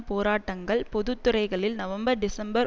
போராட்டங்கள் பொது துறைகளில் நவம்பர் டிசம்பர்